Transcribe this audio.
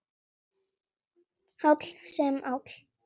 Háll sem áll.